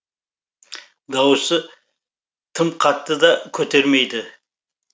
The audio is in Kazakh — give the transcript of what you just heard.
дауысы тым қатты да көтермейді